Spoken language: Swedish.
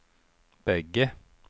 bägge